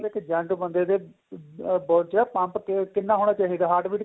ਫੇਰ ਬੰਦੇ ਦੇ body ਚ pump ਕਿੰਨਾ ਹੋਣਾ ਚਾਹੀਦਾ heart